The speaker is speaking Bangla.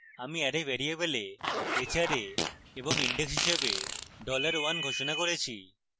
আমি অ্যারে ভ্যারিয়েবল এ hra এবং index হিসাবে dollar one ঘোষণা করেছি